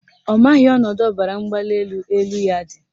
Ọ maghị ọnọdụ ọbaramgbalịelu elu ya dị